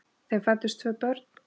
Þeim fæddust tvö börn.